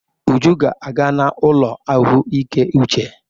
Uju ga-aga n'ụlọ ahụike uche.